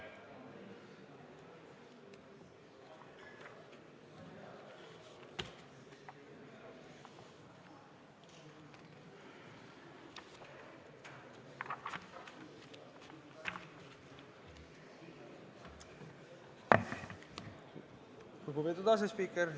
Lugupeetud asespiiker!